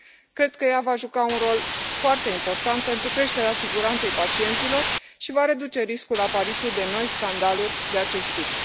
Cred că ea va juca un rol foarte important pentru creșterea siguranței pacienților și va reduce riscul apariției de noi scandaluri de acest tip.